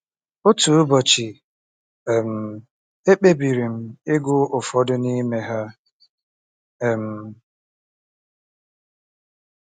Otu ụbọchị, um ekpebiri m ịgụ ụfọdụ n'ime ha. um